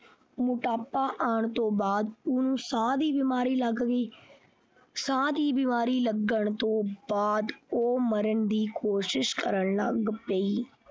ਮੋਟਾਪਾ ਆਉਣ ਤੋਂ ਬਾਅਦ ਉਸਨੂੰ ਸਾਹ ਦੀ ਬਿਮਾਰੀ ਲੱਗ ਗਈ ਸਾਹ ਦੀ ਬਿਮਾਰੀ ਲੱਗਣ ਤੋਂ ਬਾਅਦ ਉਹ ਮਰਨ ਦੀ ਕੋਸ਼ਿਸ਼ ਕਰਨ ਲੱਗ ਪਈ।